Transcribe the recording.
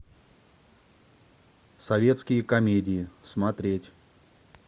советские комедии смотреть